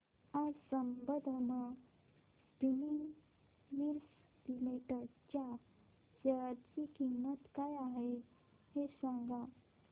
आज Sambandam spinning mills limited च्या share ची किंमत काय आहे हे सांगा